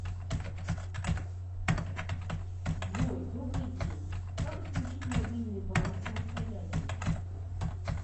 джой добрый день как отключить мобильный банк самостоятельно